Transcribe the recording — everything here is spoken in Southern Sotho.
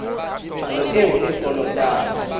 palo eo a e kolotang